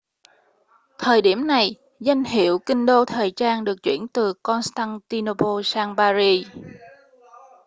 thời điểm này danh hiệu kinh đô thời trang được chuyển từ constantinople sang paris